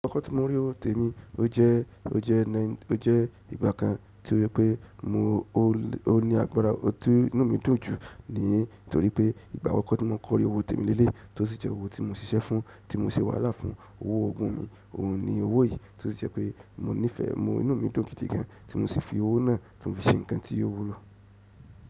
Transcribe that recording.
Akọkọ tí mo rí owó tèmi, o jẹ́ ìgbà kan tí ó jẹ pé ó ní agbára, ti inú mi dùn jù, ní torí pé ìgbà àkọkọ tí mo kọkọ rí owó tèmi lẹ́lẹ́yii, tó sì jẹ́ owó tí mo ṣiṣẹ́ fún, tí mo ṣe wàhálà fún, owó ọgún mi, ohun ni owó yìí, tó sì jẹ pé inú mi dùn gidi gan, tí mo sì fi owó náà tí mo fi ṣe nǹkan tí ò wúlò.